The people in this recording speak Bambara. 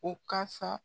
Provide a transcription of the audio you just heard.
O kasa